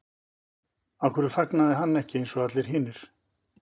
Af hverju fagnaði hann ekki eins og allir hinir?